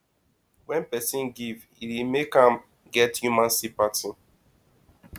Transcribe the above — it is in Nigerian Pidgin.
when perosn give e dey make am get human sympaty